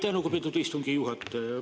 Aitäh, lugupeetud istungi juhataja!